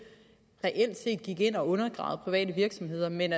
reelt set gik ind og undergravede private virksomheder men